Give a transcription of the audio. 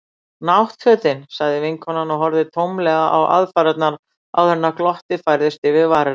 Náttfötin. sagði vinkonan og horfði tómlega á aðfarirnar áður en glottið færðist yfir varir hennar.